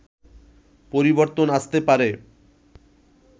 পরিবর্তন আসতে পারে